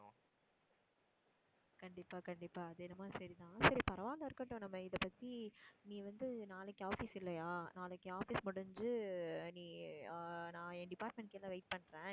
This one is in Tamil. கண்டிப்பா, கண்டிப்பா, அது என்னமோ சரிதான். சரி பரவாயில்லை இருக்கட்டும் நம்ம இதைப்பத்தி நீ வந்து நாளைக்கு office இல்லையா, நாளைக்கு office முடிஞ்சு நீ ஆஹ் நான் என் department கீழ wait பண்றேன்.